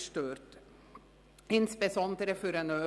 Davon betroffen ist insbesondere der ÖV.